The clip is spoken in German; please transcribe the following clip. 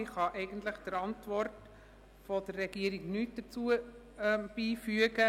Ich kann der Antwort der Regierung eigentlich nichts hinzufügen.